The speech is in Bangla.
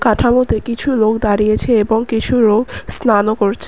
ঠাঙোতে কিছু লোক দাঁড়িয়েছে এবং কিছু লোক স্নানও করছে।